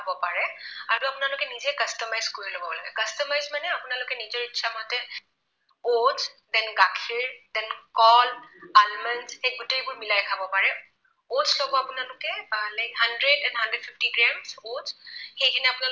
আপোনালোকে নিজৰ ইচ্ছা মতে oats then গাখীৰ then কল, almonds সেই গোটেইবোৰ মিলাই খাব পাৰে। oats লব আপোনালোকে like hundred and hundred fifty grams oats সেইখিনি আপোনালোকে